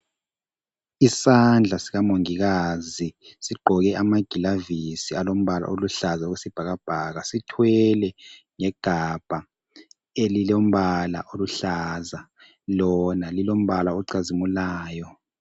Isandla sikamongikazi sigqoke amagilavusi alombala oluhlaza okwesibhakabhaka sithwele igabha elilombala oluhlaza lona lilombala ocazimulayo.